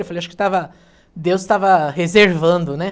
Eu falei, acho que estava, Deus estava reservando, né?